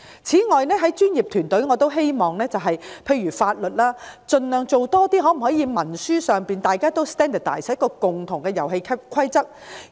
在專業服務方面，例如法律服務，兩地可否將文書規範化，讓大家跟循統一的遊戲規則呢？